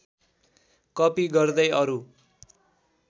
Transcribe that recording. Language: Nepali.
कपी गर्दै अरू